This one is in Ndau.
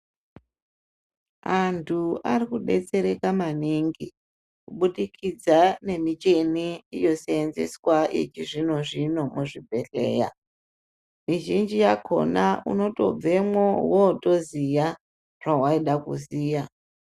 Antu ari kubetsereka maningi kubudikidza nemishini yoseenzeswa yechizvino zvino muzvibhedhleya. Mizhinji yakona unotobvemwo wotoziya zvawaida kuziya.